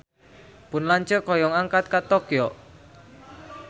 Pun lanceuk hoyong angkat ka Tokyo